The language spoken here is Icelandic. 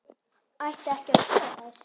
Ætti ekki að skoða þær?